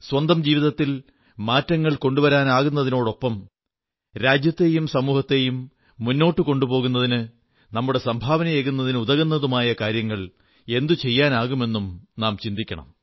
സ്വന്തം ജീവിതത്തിൽ മാറ്റങ്ങൾ കൊണ്ടുവരുന്നതിനോടൊപ്പം രാജ്യത്തെയും സമൂഹത്തെയും മുന്നോട്ടു കൊണ്ടുപോകുന്നതിന് നമ്മുക്ക് എന്ത് സംഭാവന നൽകാനാകുമെന്നും ചിന്തിക്കണം